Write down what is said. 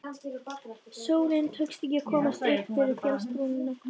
Sólinni tókst ekki að komast öll upp fyrir fjallsbrúnina.